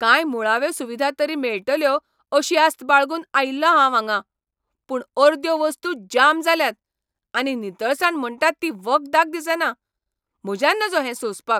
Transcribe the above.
कांय मुळाव्यो सुविधा तरी मेळटल्यो अशी आस्त बाळगून आयिल्लों हांव हांगां, पूण अर्द्यो वस्तू जाम जाल्यात, आनी नितळसाण म्हणटात ती वखदाक दिसना. म्हज्यान नजो हें सोंसपाक.